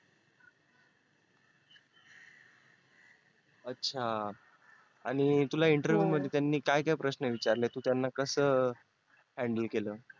अच्छा आणि तुला interview मध्ये त्यांनी काय काय प्रश्न विचारले तू त्यांना कस handle केल